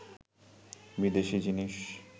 বিদেশি জিনিস